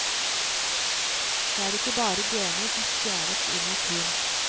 Det er ikke bare gener som stjeles i naturen.